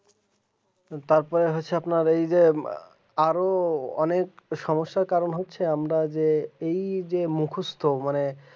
তারপর হচ্ছে যে আপনার এই যে আরো অনেক সমস্যার কারণ হচ্ছে আমরা যে এই যে মুখস্ত মানে